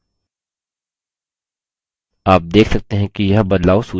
आप देख सकते हैं कि यह बदलाव सूची में प्रविष्ट हो गया है